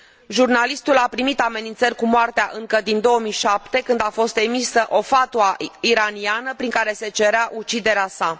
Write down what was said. Jurnalistul a primit amenințări cu moartea încă din 2007, când a fost emisă o fatwa iraniană, prin care se cerea uciderea sa.